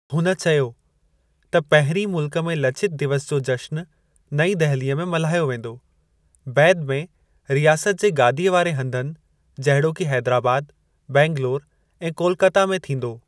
हुन चयो त, पहिरीं मुल्कु में लचित दिवस जो जश्न नईं दहिली में मल्हायो वेंदो, बैदि में रियासत जे गादीअ वारे हंधनि जहिड़ोकि हेदराबाद, बैंगलौर ऐं कोलकता में थींदो।